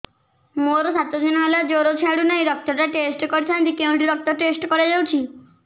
ମୋରୋ ସାତ ଦିନ ହେଲା ଜ୍ଵର ଛାଡୁନାହିଁ ରକ୍ତ ଟା ଟେଷ୍ଟ କରିଥାନ୍ତି କେଉଁଠି ରକ୍ତ ଟେଷ୍ଟ କରା ଯାଉଛି